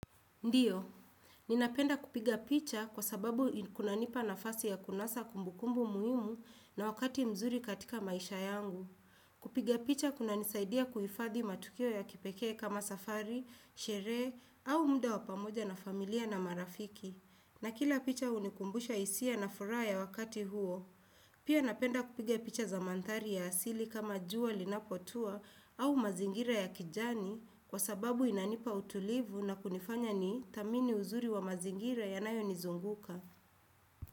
Ndiyo, ninapenda kupiga picha kwa sababu kuna nipa nafasi ya kunasa kumbukumbu muhimu na wakati mzuri katika maisha yangu. Kupiga picha kuna nisaidia kuifadhi matukio ya kipeke kama safari, shere, au mda wapamoja na familia na marafiki. Na kila picha unikumbusha hisia na fura ya wakati huo. Pia napenda kupiga picha za mantari ya asili kama juwa linapotua au mazingira ya kijani kwa sababu inanipa utulivu na kunifanya ni thamini uzuri wa mazingira yanayo nizunguka.